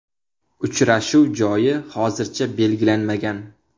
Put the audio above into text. Uchrashuv joyi hozircha belgilanmagan.